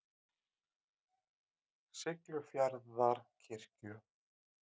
Siglufjarðarkirkju